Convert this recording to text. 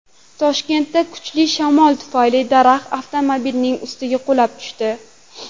Toshkentda kuchli shamol tufayli daraxt avtomobilnining ustiga qulab tushdi .